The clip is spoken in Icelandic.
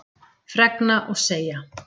Fregna og segja